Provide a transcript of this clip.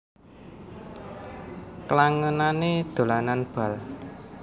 Klangenané dolanan bal